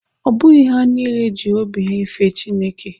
Ọ bụghị ha niile ji obi ha fee Chineke.